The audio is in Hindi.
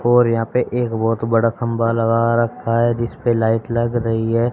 और यहाँ पे एक बहोत बड़ा खंभा लगा रखा है जिस पे लाइट लग रही है।